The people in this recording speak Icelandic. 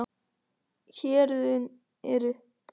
Héruðin eru